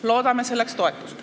Loodame selleks toetust.